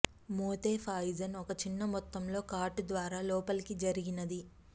Mothe poison ఒక చిన్న మొత్తంలో కాటు ద్వారా లోపలికి జరిగినది